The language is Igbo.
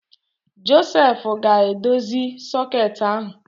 Josef ga-edozi soket ahụ